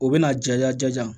O bɛna ja ja